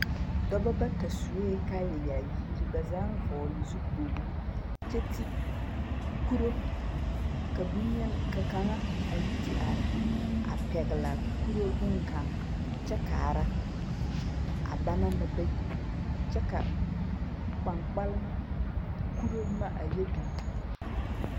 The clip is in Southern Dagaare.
Dɔba bata sue kaayayaayir, ba zaaŋ vɔgele zukpogri kyɛ ti, kuro, ka boŋ-yeni ka kaŋa a yi te are a pɛglɛɛ kuro boŋkaŋ kyɛ kaara, a banaŋ na bayi kyɛ ka kpaŋkpalema kuro boma a yɛ biŋ biŋ.